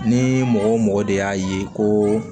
Ni mɔgɔ o mɔgɔ de y'a ye ko